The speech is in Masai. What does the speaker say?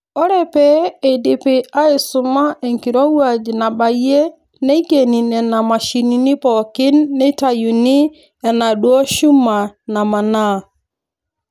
Ore pee eidipi aaisuma enkirowuaj nabayie neikeni Nena mashinini pookin neitayuni enaaduoo shuma namanaa.